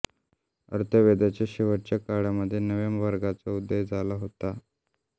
अथर्ववेदाच्या शेवटाच्या काळामध्ये नव्या वर्गाचा उदय झाला होता